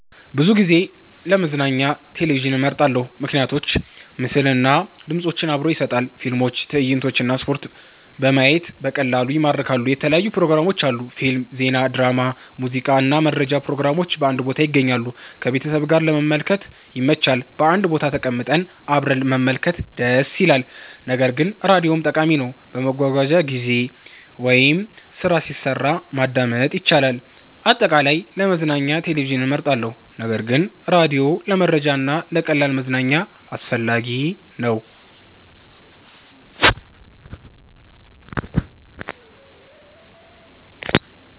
ብዙ ጊዜ ለመዝናኛ ቴሌቪዥንን እመርጣለሁ። ምክንያቶች ምስል እና ድምፅ አብሮ ይሰጣል – ፊልሞች፣ ትዕይንቶች እና ስፖርት በማየት በቀላሉ ይማርካሉ። የተለያዩ ፕሮግራሞች አሉ – ፊልም፣ ዜና፣ ድራማ፣ ሙዚቃ እና መረጃ ፕሮግራሞች በአንድ ቦታ ይገኛሉ። ከቤተሰብ ጋር ለመመልከት ይመች – በአንድ ቦታ ተቀምጠን አብረን መመልከት ደስ ይላል። ነገር ግን ራዲዮም ጠቃሚ ነው፤ በመጓጓዣ ጊዜ ወይም ስራ ሲሰራ ማዳመጥ ይቻላል። አጠቃላይ፣ ለመዝናኛ ቴሌቪዥን እመርጣለሁ ነገር ግን ራዲዮ ለመረጃ እና ለቀላል መዝናኛ አስፈላጊ ነው።